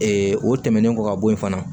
o tɛmɛnen kɔ ka bɔ yen fana